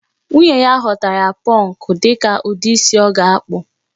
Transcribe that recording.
Nwunye ya họọtara ya pọnkụ ka ụdị isi ọ ga-akpụ